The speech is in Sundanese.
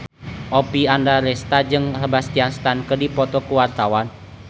Oppie Andaresta jeung Sebastian Stan keur dipoto ku wartawan